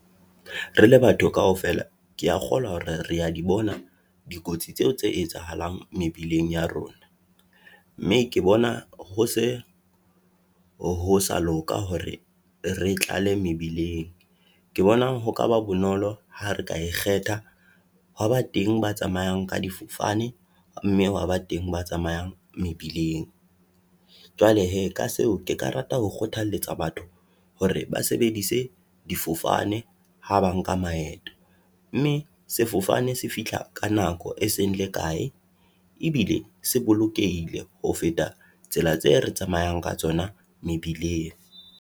Re le batho kaofela ke ya kgolwa hore re ya di bona dikotsi tseo tse etsahalang mebileng ya rona, mme ke bona ho se ho sa loka hore re tlale mebileng. Ke bonang ho kaba bonolo ha re ka e kgetha, hwa ba teng ba tsamayang ka difofane, mme hwa ba teng ba tsamayang mebileng. Jwale hee, ka seo ke ka rata ho kgothaletsa batho hore ba sebeditse difofane ha ba nka maeto. Mme sefofane se fihla ka nako e seng le kae, ebile se bolokehile ho feta tsela tseo re tsamayang ka tsona mebileng.